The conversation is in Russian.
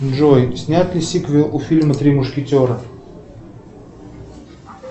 джой снят ли сиквел у фильма три мушкетера